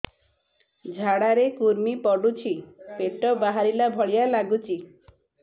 ଝାଡା ରେ କୁର୍ମି ପଡୁଛି ପେଟ ବାହାରିଲା ଭଳିଆ ଲାଗୁଚି